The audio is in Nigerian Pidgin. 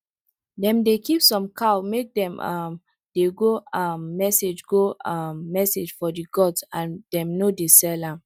dem dey keep some cows make dem um dey go um message go um message for the gods and dem no dey sell am